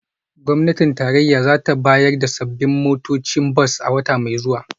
Gwamnatin tarayya za ta bayar da sabbin motocin bas a wata mai zuwa